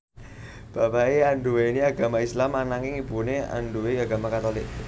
Bapaké anduwèni agama Islam ananging ibuné anduwèni agama Katulik